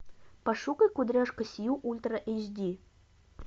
пошукай кудряшка сью ультра эйч ди